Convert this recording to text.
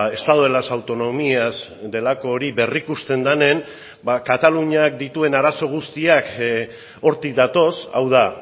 estado de las autonomías delako hori berrikusten denean ba kataluniak dituen arazo guztiak hortik datoz hau da